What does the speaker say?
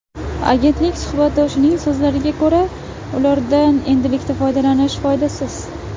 Agentlik suhbatdoshining so‘zlariga ko‘ra, ulardan endilikda foydalanish foydasiz.